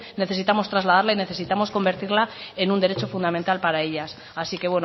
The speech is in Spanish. necesitamos trasladarla y necesitamos convertirla en un derecho fundamental para ellas así que